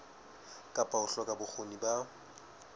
kapa ho hloka bokgoni ba